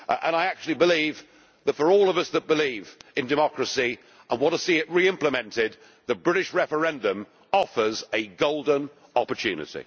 I actually believe that for all of us who believe in democracy and want to see it re implemented, the British referendum offers a golden opportunity.